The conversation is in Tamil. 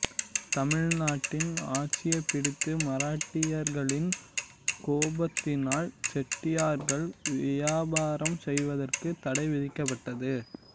தமிழ் நாட்டின் ஆட்சியை பிடித்த மராட்டியர்களின் கோபத்தினால் செட்டியார்கள் வியாபாரம் செய்வதற்கு தடை விதிக்கப்பட்டது